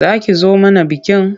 Za ki zo mana bikin?